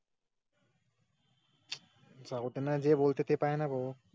हवते बोलताना भाव